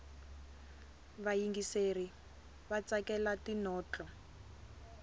vayingiseri vatsakela tinotlo